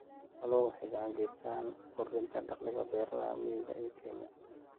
Xooluhu waxay gacan ka geystaan ??kordhinta dakhliga beeralayda miyiga ee Kenya.